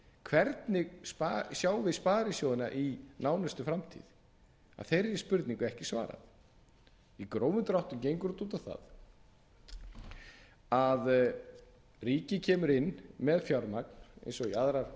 hvernig sjáum við sparisjóðina í nánustu framtíð að þeirri spurningu er ekki svarað í grófum dráttum gengur þetta út á það að ríkið kemur inn með fjármagn eins og í aðrar